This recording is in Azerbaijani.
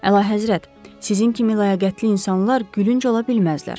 Əlahəzrət, sizin kimi ləyaqətli insanlar gülünc ola bilməzlər.